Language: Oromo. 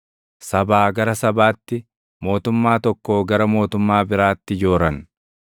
sabaa gara sabaatti, mootummaa tokkoo gara mootummaa biraatti jooran.